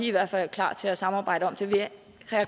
i hvert fald klar til at samarbejde om det vil herre